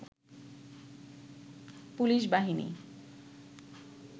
police বাহিনী